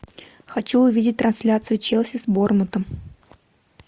хочу увидеть трансляцию челси с борнмутом